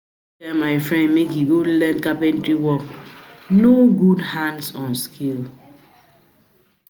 tell my friend make he go learn carpentry work, na good hands-on skill